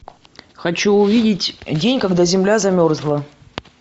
хочу увидеть день когда земля замерзла